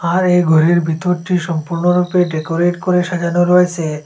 আর এই ঘোরির ভিতরটি সম্পূর্ণরূপে ডেকোরেট করে সাজানো রয়েছে।